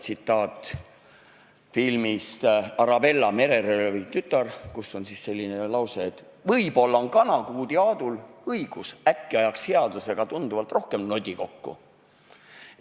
Tsitaat on filmist "Arabella, mereröövli tütar", kus on selline lause: "Võib-olla on Kanakuudi-Aadul õigus, äkki ajaks headusega tunduvalt rohkem nodi kokku?